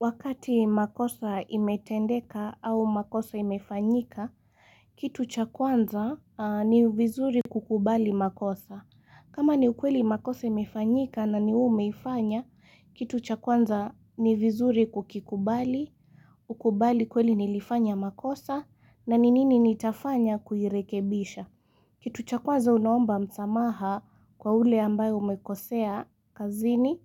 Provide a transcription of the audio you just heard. Wakati makosa imetendeka au makosa imefanyika, kitu cha kwanza ni vizuri kukubali makosa. Kama ni ukweli makosa imefanyika na ni wwe umeifanya, kitu cha kwanza ni vizuri kukikubali, ukubali kweli nilifanya makosa na ni nini nitafanya kuirekebisha. Kitu cha kwanza unaomba msamaha kwa ule ambaye umekosea kazini.